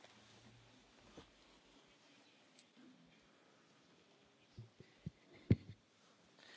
Powiedziałem, co powinniśmy zrobić dziecko należy do rodziców i tylko rodzice powinni decydować, co jest dobre dla dziecka, a nie urzędnicy.